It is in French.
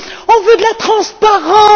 On veut de la transparence.